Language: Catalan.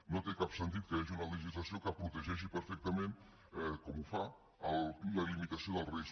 no té cap sentit que hi hagi una legislació que protegeixi perfectament com ho fa la limitació del risc